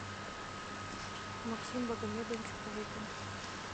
максим багамедович кувыкин